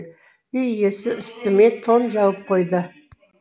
үй иесі үстіме тон жауып қойды